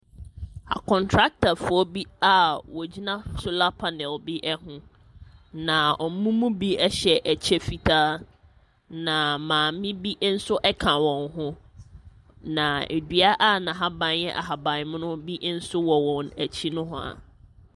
Akɔntratafoɔ bi a wɔgyina solar panel bi ho. Na wɔn mu bi hyɛ ɛkyɛ fitaa. Na Maame bi nso ka wɔn ho. Na dua a n'ahaban yɛ ahabammono bi nso wɔ wɔn akyi nohoa.